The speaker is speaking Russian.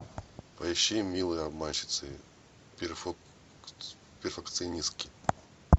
поищи милые обманщицы перфекционистки